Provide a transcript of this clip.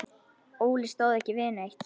Óli stóð ekki við neitt.